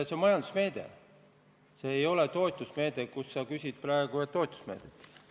See on majandusmeede, mitte toetusmeede – kuigi sa küsides nimetasid seda praegu toetusmeetmeks.